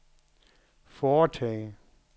foretage